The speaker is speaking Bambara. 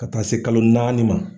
Ka taa se kalo naani ma.